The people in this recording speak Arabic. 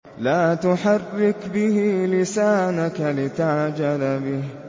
لَا تُحَرِّكْ بِهِ لِسَانَكَ لِتَعْجَلَ بِهِ